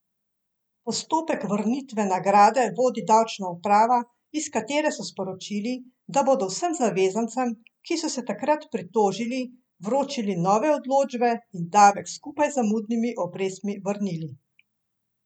Postopek vrnitve nagrade vodi davčna uprava, iz katere so sporočili, da bodo vsem zavezancem, ki so se takrat pritožili, vročili nove odločbe in davek skupaj z zamudnimi obrestmi vrnili.